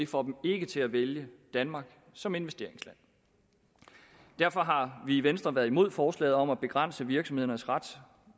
får dem ikke til at vælge danmark som investeringsland derfor har vi i venstre været imod forslaget om at begrænse virksomhedernes ret